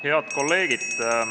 Head kolleegid!